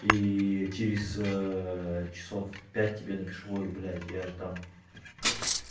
и через часов пять тебе напишу ой блядь я ж там